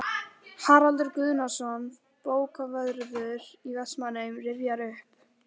Haraldur Guðnason, bókavörður í Vestmannaeyjum, rifjar upp